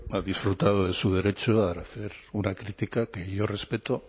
ha disfrutado de su derecho a hacer una crítica que yo respeto